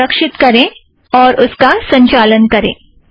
उसे सुरक्षित करें और उसका संचालन करें